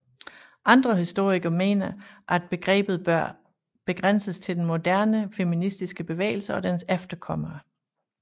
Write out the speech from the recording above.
Andre historikere mener at begrebet bør begrænses til den moderne feministiske bevægelse og dens efterkommere